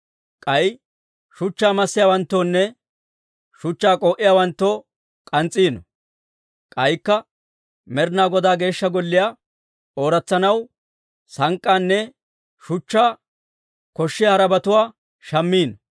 K'ay shuchchaa massiyaawanttoonne shuchchaa k'oo'iyaawanttoo k'ans's'iino. K'aykka Med'ina Godaa Geeshsha Golliyaa ooratsanaw sank'k'aanne shuchchaanne koshshiyaa harabatuwaa shammiino.